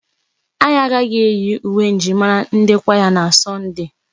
Anyị agaghị eyi uwe njirimara ndi kwaya na Sọnde.